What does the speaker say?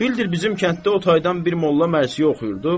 Bildir bizim kənddə o taydan bir molla mərsi oxuyurdu.